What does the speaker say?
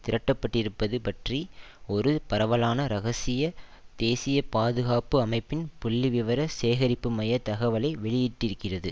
திரட்டப்பட்டிருப்பது பற்றி ஒரு பரவலான இரகசிய தேசிய பாதுகாப்பு அமைப்பின் புள்ளிவிவர சேகரிப்புமைய தகவலை வெளியிட்டிருக்கிறது